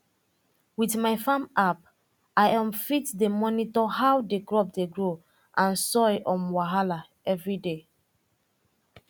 with my farm app i um fit dey monitor how the crop dey grow and soil um wahala everyday